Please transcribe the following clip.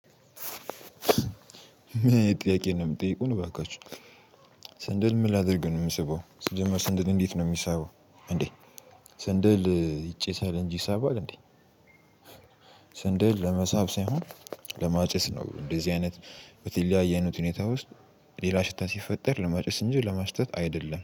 ጥያቄ ነው የምጠይቀው እባካችሁ ሰንደል ምን? ላድርገን የምሰበው ስጀምር ሰንደል እንዴት ነው የሚሳበው? እንዴ ስንድል ይጨሳል እንጂ ይሳባል እንዴ? ስንድል ለመሳብ ሳይሆን ለማጨስ ነው እንደዚህ አይነት በተለያየ አይነት ሁኔታ ውስጥ ሌላ ሽታ ሲፈጠር ለማጨስ እንጂ ለማሽተት አይደለም